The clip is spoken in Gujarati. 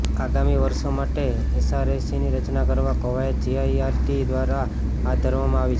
આગામી વર્ષો માટે એસઆરસીની રચના કરવા કવાયત જીસીઇઆરટી દ્વારા હાથ ધરવામાં આવી છે